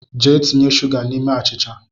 Jee tinye suga n’ime achịcha